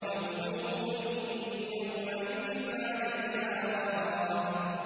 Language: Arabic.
وَوُجُوهٌ يَوْمَئِذٍ عَلَيْهَا غَبَرَةٌ